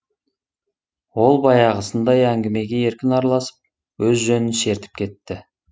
ол баяғысындай әңгімеге еркін араласып өз жөнін шертіп кетті